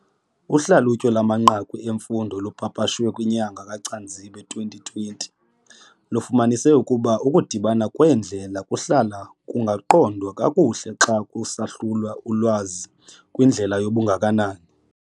Uhlalutyo lwamanqaku emfundo olupapashwe ngenyanga KaCanzibe ka-2020 lufumanise ukuba ukudibana kweendlela kuhlala kungaqondwa kakuhle xa kusahlulwa ulwazi kwindlela yobungakanani.